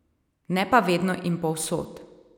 Ne pa vedno in povsod.